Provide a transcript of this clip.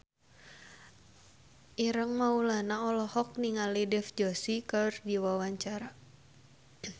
Ireng Maulana olohok ningali Dev Joshi keur diwawancara